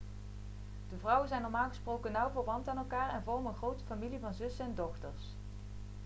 de vrouwen zijn normaal gesproken nauw verwant aan elkaar en vormen een grote familie van zussen en dochters